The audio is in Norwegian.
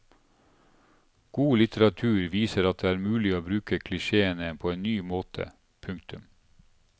God litteratur viser at det er mulig å bruke klisjéene på en ny måte. punktum